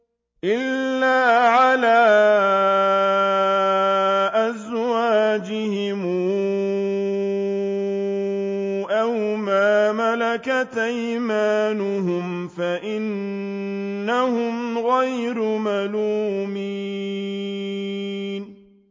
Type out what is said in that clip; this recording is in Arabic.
إِلَّا عَلَىٰ أَزْوَاجِهِمْ أَوْ مَا مَلَكَتْ أَيْمَانُهُمْ فَإِنَّهُمْ غَيْرُ مَلُومِينَ